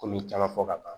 Komi caman fɔ ka ban